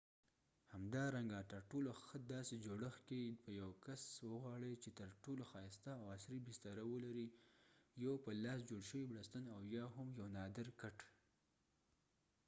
همدارنګه تر ټولو ښه داسې جوړښت کې په یو کس وغواړی چ تر ټولو ښایسته او عصری بستره ولري یو په لاس جوړ شوي بړستن او یا هم یو نادر کټ